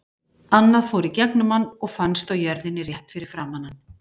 Annað fór í gegnum hann og fannst á jörðinni rétt fyrir framan hann.